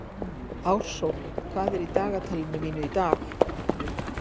Ársól, hvað er í dagatalinu mínu í dag?